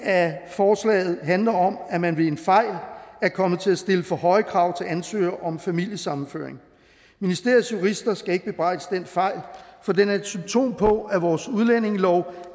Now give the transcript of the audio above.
af forslaget handler om at man ved en fejl er kommet til at stille for høje krav til ansøgere om familiesammenføring ministeriets jurister skal ikke bebrejdes den fejl for den er et symptom på at vores udlændingelov